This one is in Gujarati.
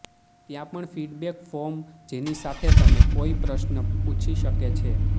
ત્યાં પણ ફિડબેક ફોર્મ જેની સાથે તમે કોઇ પ્રશ્ન પૂછી શકે છે